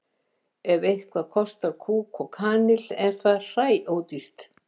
ef eitthvað kostar kúk og kanil er það hræódýrt